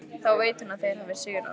Þá veit hún að þeir hafa sigrað.